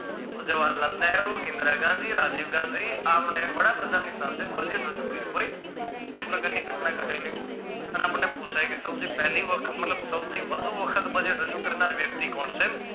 જવાહરલાલ નહેરુ ઇન્દિરા ગાંધી રાજીવ ગાંધી આમને વડાપ્રધાન ની સાથે budget કર્યું હોય તે પ્રકારની ઘટના ઘટેલી અને આપણને પુછાય ગઈ કે તમે જે પેહલી વખતમાં સૌથી વધુ વખત budget રજુ કરનાર વ્યક્તિ કોણ છે.